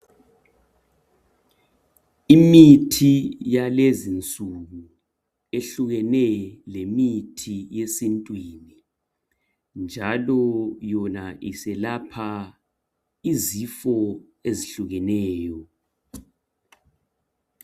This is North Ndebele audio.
Imithi yalezinsuku yehlukene lemithi yesintwini njalo yona iselapha izifo ezihlukeneyo.